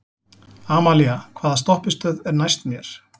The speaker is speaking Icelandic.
Amalía, hvaða stoppistöð er næst mér?